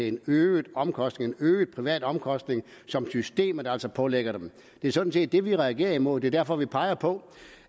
en øget omkostning en øget privat omkostning som systemet altså pålægger dem det er sådan set det vi reagerer imod det er derfor jeg peger på